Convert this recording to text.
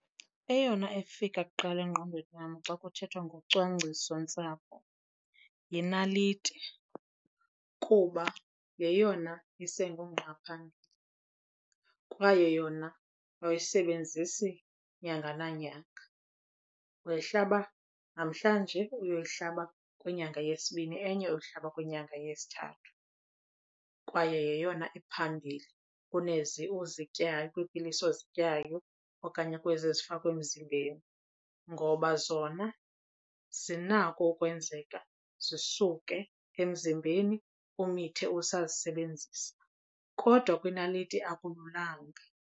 Eyona efika kuqala engqondweni yam xa kuthethwa ngocwangcisontsapho yinaliti kuba yeyona isengungqa phambili. Kwaye yona awuyisebenzisi nyanga nanyanga, uyihlaba namhlanje uyoyihlaba kwinyanga yesibini enye uhlaba kwinyanga yesithathu. Kwaye yeyona iphambili kunezi uzityayo, kwiipilisi ozityayo okanye kwezi zifakwa emzimbeni ngoba zona zinako ukwenzeka zisuke emzimbeni, umithe usazisebenzisa kodwa kwinaliti akululanga.